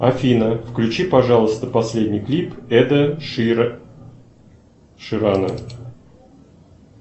афина включи пожалуйста последний клип эда ширана